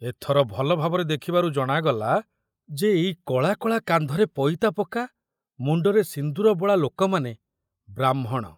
ଏଥର ଭଲ ଭାବରେ ଦେଖିବାରୁ ଜଣାଗଲା ଯେ ଏଇ କଳା କଳା କାନ୍ଧରେ ପଇତା ପକା ମୁଣ୍ଡରେ ସିନ୍ଦୁର ବୋଳା ଲୋକମାନେ ବ୍ରାହ୍ମଣ।